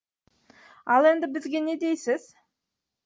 ал енді бізге не дейсіз